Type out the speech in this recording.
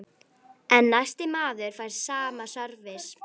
En næsti maður fær sama sörvis.